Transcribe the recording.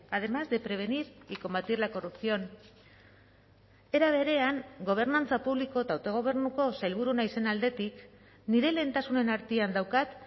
además de prevenir y combatir la corrupción era berean gobernantza publiko eta autogobernuko sailburu naizen aldetik nire lehentasunen artean daukat